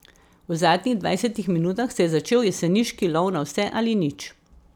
V zadnjih dvajsetih minutah se je začel jeseniški lov na vse ali nič.